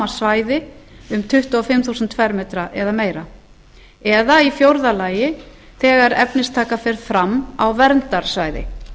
svæði um tuttugu og fimm þúsund fermetrar eða meira fjórða þegar efnistaka fer fram á verndarsvæði